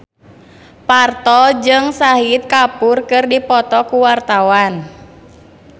Parto jeung Shahid Kapoor keur dipoto ku wartawan